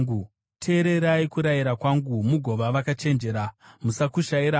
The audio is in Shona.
Teererai kurayira kwangu mugova vakachenjera; musakushayira hanya.